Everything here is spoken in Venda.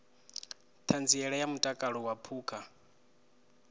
ṱhanziela ya mutakalo wa phukha